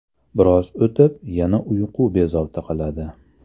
Biroz o‘tib, yana uyqu bezovta qiladi.